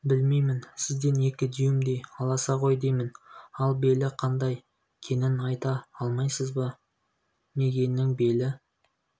білмеймін сізден екі дюймдей аласа ғой деймін ал белі қандай кенін айта алмайсыз ба мигэннің белі